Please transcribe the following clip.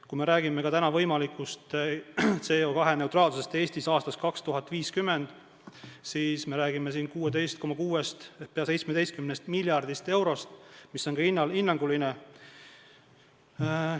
Kui me räägime võimalikust CO2-neutraalsusest Eestis aastaks 2050, siis me räägime 16,6-st ehk peaaegu 17 miljardist eurost, mis on hinnanguline summa.